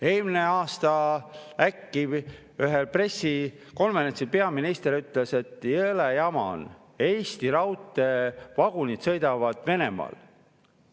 Eelmisel aastal ütles peaminister – äkki ühel pressikonverentsil –, et jõle jama on, Eesti raudteevagunid sõidavad Venemaal.